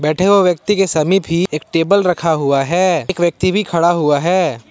बैठे हुए व्यक्ति के समीप ही एक टेबल रखा हुआ है एक व्यक्ति भी खड़ा हुआ है।